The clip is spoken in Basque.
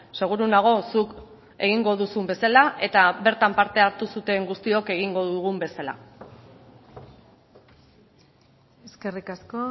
seguru nago zuk egingo duzun bezala eta bertan parte hartu zuten guztiok egingo dugun bezala eskerrik asko